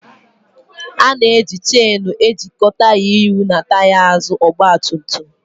Ana-eji cheenu ejikọ taya ihu na taya azụ ọgba tum tum